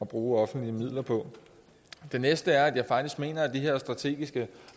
bruge offentlige midler på det næste er at jeg faktisk mener at de her strategiske